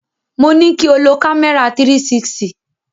Mo ní kí o lo kámẹ́rà 360.